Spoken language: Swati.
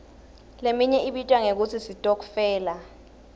leminye ibitwa ngekutsi sitokfela